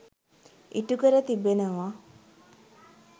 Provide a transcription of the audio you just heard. ඉටු කර තිබෙනවා.